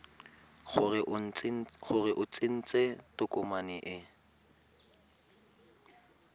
gore o tsentse tokomane e